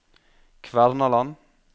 Kvernaland